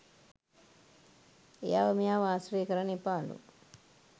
එයාව මෙයාව ආශ්‍රය කරන්න එපාලු.